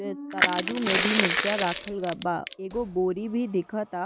ए तराजू में भी मिर्चा राखल ग बा। एगो बोरी भी दिखता।